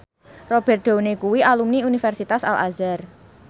Robert Downey kuwi alumni Universitas Al Azhar